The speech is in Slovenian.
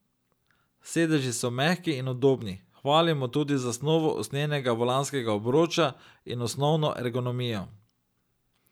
Sedeži so mehki in udobni, hvalimo tudi zasnovo usnjenega volanskega obroča in osnovno ergonomijo.